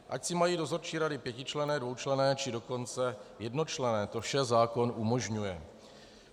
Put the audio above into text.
Ať si mají dozorčí rady pětičlenné, dvoučlenné, či dokonce jednočlenné, to vše zákon umožňuje.